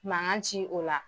Mankan ci o la.